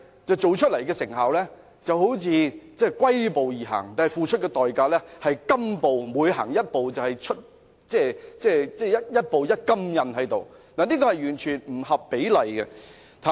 做出來的成效好像龜速般，但付出的代價卻是金步，一步一金印，這是完全不合比例的。